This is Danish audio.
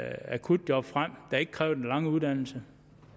akutjob frem der ikke kræver den lange uddannelse